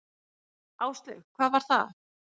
Áslaug: Hvað var það?